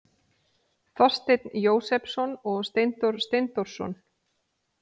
Þorsteinn Jósepsson og Steindór Steindórsson.